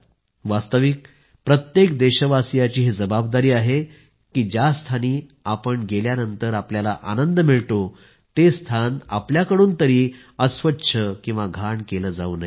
वास्तविक ही प्रत्येक देशवासियाची जबाबदारी आहे की ज्या स्थानी गेल्यानंतर आपल्याला खूप आनंद मिळतो ते स्थान आपल्याकडून तरी अस्वच्छ घाण केलं जावू नये